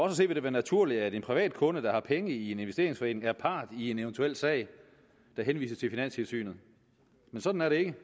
at se vil det være naturligt at en privat kunde der har penge i en investeringsforening er part i en eventuel sag der henvises til finanstilsynet men sådan er det ikke